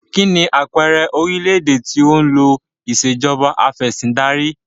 Kínní àpẹẹrẹ orílédé tí ó ń lo ìsèjọba afẹ̀sindarí?